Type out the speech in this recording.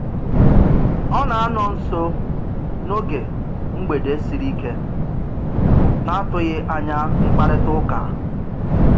Ọ na-anọ nso n'oge mgbede sịrị ike na-atụghị anya mkparịtaụka